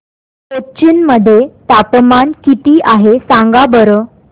कोचीन मध्ये तापमान किती आहे सांगा बरं